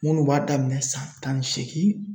Munnu b'a daminɛ san tan ni seegin.